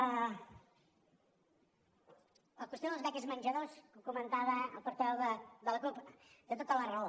la qüestió de les beques menjador ho comentava el portaveu de la cup té tota la raó